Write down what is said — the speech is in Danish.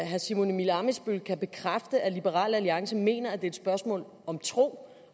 herre simon emil ammitzbøll kan bekræfte at liberal alliance mener at et spørgsmål om tro